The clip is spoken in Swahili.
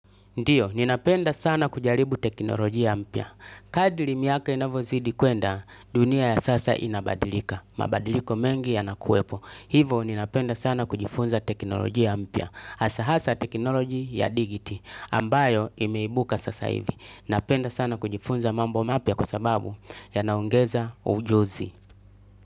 Ndiyo, ninapenda sana kujaribu teknolojia mpya. Kadri miaka inavyozidi kwenda, dunia ya sasa inabadilika. Mabadiliko mengi yanakuwepo. Hivo ninapenda sana kujifunza teknolojia mpya hasahasa teknoloji ya digiti, ambayo imeibuka sasa hivi. Ninapenda sana kujifunza mambo mapya kwa sababu yanaongeza ujuzi.